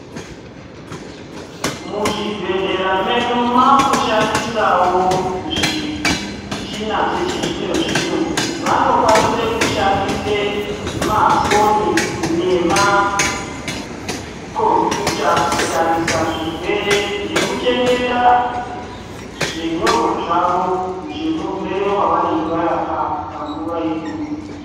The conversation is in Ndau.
Muzvibhedhlera medu makushandisawo zvimichini dzechizvino zvino vanokwanise kushandisa mafoni nemakombuyuta kutarisa zvirwere nekuchengeta zvinyorwa zvavo zvemurwere wavanonga varapa panguva iyoyo.